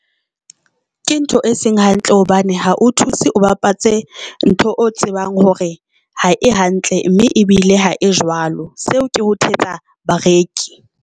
Ke ntho e seng hantle hobane ha o thuse o bapatse ntho o tsebang hore ha e hantle, mme ebile ha e jwalo seo ke ho thetsa bareki.